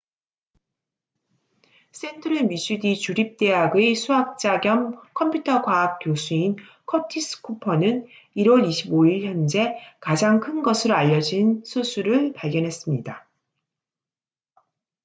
센트럴 미주리 주립대학의 수학자 겸 컴퓨터 과학 교수인 커티스 쿠퍼curtis cooper는 1월 25일 현재 가장 큰 것으로 알려진 소수를 발견했습니다